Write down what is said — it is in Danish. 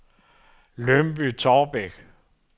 Lyngby-Taarbæk